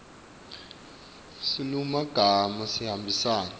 silulumagama sihambisana